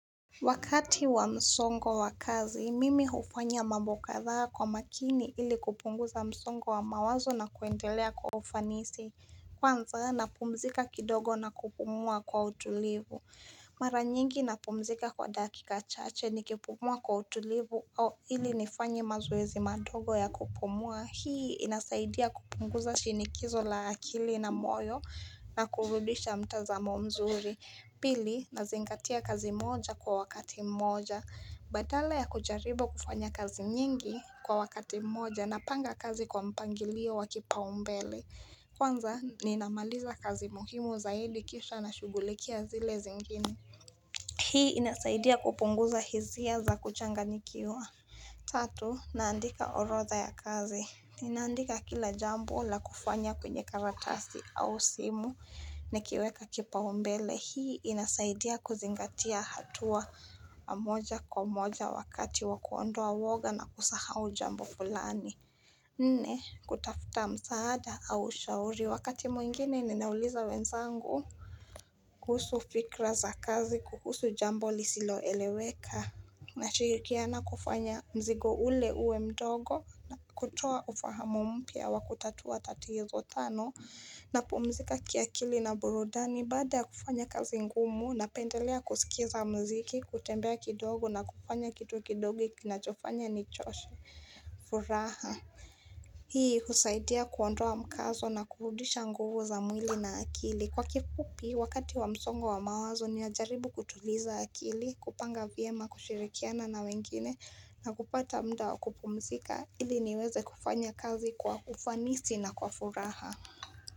Wakati wa msongo wa kazi, mimi hufanya mambo kadhaa kwa makini ili kupunguza msongo wa mawazo na kuendelea kwa ufanisi. Kwanzaa na pumzika kidogo na kupumua kwa utulivu. Maranyingi na pumzika kwa dakika chache ni kipumua kwa utulivu au ili nifanye mazoezi madogo ya kupumua. Hii inasaidia kupunguza shinikizo la akili na moyo na kurudisha mtazamo mzuri. Pili, nazingatia kazi moja kwa wakati mmoja. Badala ya kujaribu kufanya kazi nyingi kwa wakati mmoja na panga kazi kwa mpangilio wa kipa umbele. Kwanza, ninamaliza kazi muhimu za hili kisha na shugulikia zile zingine. Hii inasaidia kupunguza hizia za kuchanga nikiwa. Tatu, naandika orodha ya kazi. Ninaandika kila jambo la kufanya kwenye karatasi au simu nikiweka kipaumbele. Hii inasaidia kuzingatia hatua moja kwa moja wakati wakuondoa woga na kusahau jambo fulani. Nne, kutafuta msaada au ushauri wakati mwingine ninauliza wenzangu. Kuhusu fikra za kazi, kuhusu jambo lisilo eleweka. Na shirikiana kufanya mzigo ule uwe mdogo na kutoa ufahamu mpya wa kutatua tatizo tano. Na pumzika kiakili na burudani baada ya kufanya kazi ngumu na pendelea kusikiza mziki, kutembea kidogo na kufanya kitu kidogo kinachofanya nichoshe furaha Hii husaidia kuondoa mkazo na kurudisha nguvu za mwili na akili Kwa kifupi wakati wa msongo wa mawazo ninajaribu kutuliza akili, kupanga vyema kushirikiana na wengine na kupata mda wakupumzika ili niweze kufanya kazi kwa ufanisi na kwa furaha.